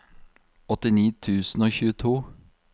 åttini tusen og tjueto